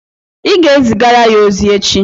Ị ga-ezigara ya ozi echi